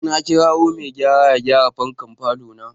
Na kirawo mai gayara ya gyara fankan falona.